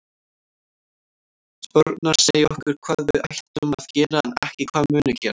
Spárnar segja okkur hvað við ættum að gera en ekki hvað muni gerast.